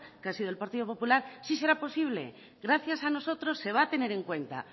que ha sido el partido popular sí será posible gracias a nosotros se va a tener en cuenta